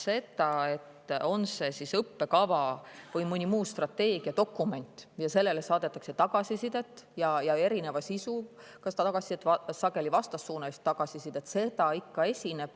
Seda, et õppekava või mõne muu strateegiadokumendi kohta saadetakse tagasisidet, erineva sisuga ja sageli vastassuunalist tagasisidet, ikka esineb.